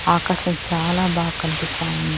ఆకాశం చాలా బా కనిపిస్తా ఉం--